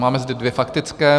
Máme zde dvě faktické.